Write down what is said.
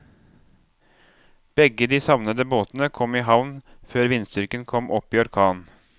Begge de savnede båtene kom i havn før vindstyrken kom opp i orkan.